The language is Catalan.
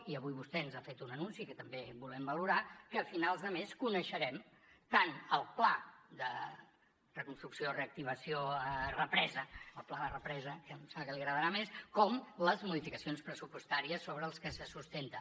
i avui vostè ens ha fet un anunci que també volem valorar que a finals de mes coneixerem tant el pla de reconstrucció reactivació represa el pla de represa que em sembla que li agradarà més com les modificacions pressupostàries sobre les que se sustenta